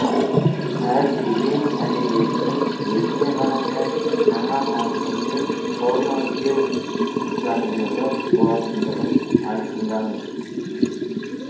әр кезең әдебиетінің өзіне ғана тән жаңа мазмұн мен форма іздеу заңдылығы болатындығын айқындаңыз